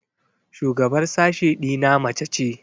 Shugabar sashe ɗina mace ce.